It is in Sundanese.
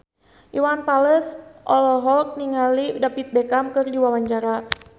Iwan Fals olohok ningali David Beckham keur diwawancara